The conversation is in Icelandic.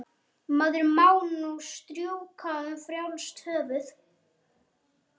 Maður má nú strjúka um frjálst höfuð!